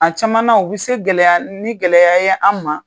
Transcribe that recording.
A cama na u bɛ se gɛlɛya ni gɛlɛya ye an ma.